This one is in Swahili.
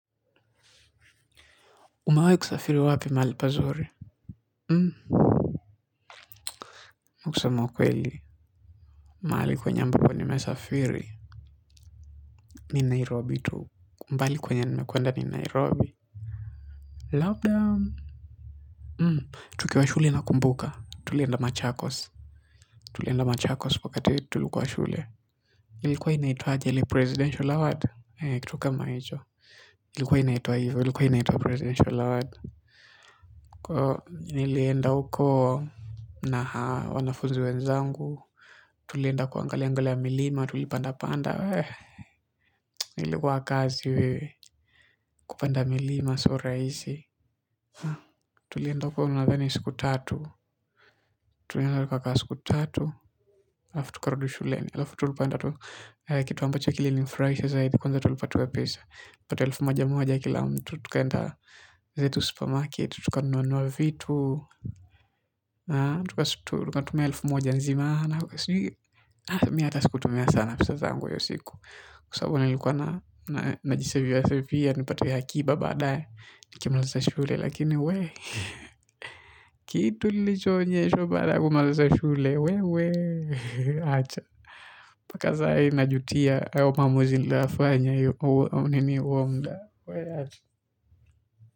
Umewahi kusafiri wapi mahali pazuri? Hmm. Na kusema ukweli. Mahali kwenye ambapo nimesafiri. Ni Nairobi tu. Mbali kwenye nimekwenda ni Nairobi. Labdaa. Hmm. Tukiwa shule na kumbuka. Tulienda machakos. Tulienda machakos wakati tulikuwa shule. Ilikuwa inaitwaje ile presidential award. kitu kama hicho. Ilikuwa inaitwa hivo. Ilikuwa inaitwa presidential award. Kwa, nilienda ukoo. Na haa, wanafuzi wenzangu. Tulienda kuangaliaangalia milima, tulipanda panda. Ilikuwa kazi wewe kupanda milima, sio rahisi. Tulienda huko nadhani siku tatu. Tulienda tukakaa siku tatu. Halafu tukarudi shuleni. Halafu tulipanda tu kitu ambacho kilininifurahisha zaidi. Kwanza tulipatiwa pesa. Pata elfu moja moja kila mtu. Tukaenda zetu supermarket. Tukanunuanunua vitu. Tuka tumia elfu moja zima. Na sijui mi hata sikutumia sana pesa zangu hiyo siku. Kwa sababu nilikuwa najiseviasevia, nipati akiba badae, nkimaliza shule, lakini we, kitu nilichoonyeshwa baada ya kumaliza shule, we, we, acha. Mpaka zahii najutia hayo maamuzi niloyafanya hiyo au huo muda.